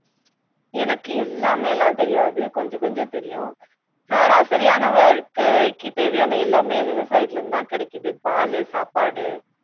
எனக்கு எல்லாமேல்லாம் தெரியாது கொஞ்சம் கொஞ்சம் தெரியும் சராசரியான வாழ்க்கைக்கு தேவையான எல்லாமே விவசாயத்துல இருந்து தான் கிடைக்குது பாலு சாப்பாடு